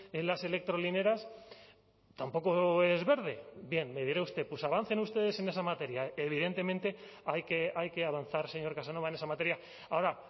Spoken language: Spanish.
en las electrolineras tampoco es verde bien me dirá usted pues avancen ustedes en esa materia evidentemente hay que avanzar señor casanova en esa materia ahora